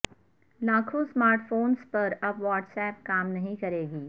لاکھوں smart phones پر اب واٹس ایپ کام نہیں کرے گی